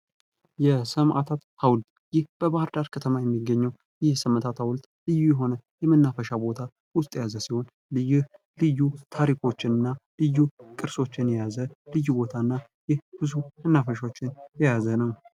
የሰማዕታት ሀውልት ይህ በባህርዳር ከተማ የሚገኝ የሰማዕታት ሀዉልት ልዩ የሆነ የመናፈሻ ቦታ በውስጦ የያዘ ሲሆን ልዩ ልዩ ታሪኮችና ልዩ ቅርሶችን የያዘ ልዩ ቦታና ብዙ መናፈሻዎችን የያዘ ነው።